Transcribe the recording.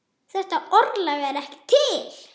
Þetta orðalag er ekki til.